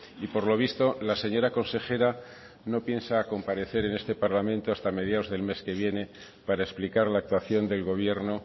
y por lo visto la señora consejera no piensa comparecer en este parlamento hasta mediados del mes que viene para explicar la actuación del gobierno